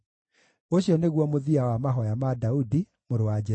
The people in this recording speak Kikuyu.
Ũcio nĩguo mũthia wa mahooya ma Daudi, mũrũ wa Jesii.